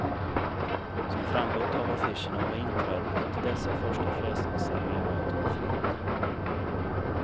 Som framgått av affischerna var inträdet till dessa första frälsningsarmémöten fritt.